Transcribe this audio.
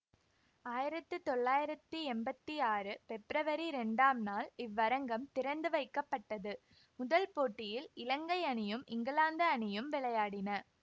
ஆயிரத்தி தொள்ளாயிரத்தி எம்பத்தி ஆறு பெப்ரவரி இரண்டாம் நாள் இவ்வரங்கம் திறந்துவைக்கப்பட்டது முதல் போட்டியில் இலங்கை அணியும் இங்கிலாந்து அணியும் விளையாடின